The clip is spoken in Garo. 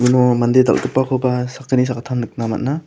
uno mande dal·gipakoba sakgni sakgittam nikna man·a.